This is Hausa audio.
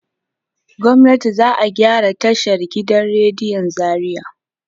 Gwamnati za a gyara tashan gidan rediyon Zariya.